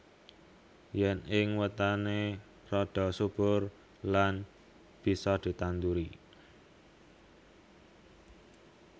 Yen ing wetané rada subur lan bisa ditanduri